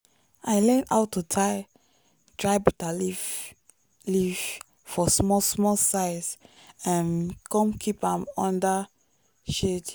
i learn how to tie dry bitterleaf leaf for small small size um come keep am under shade.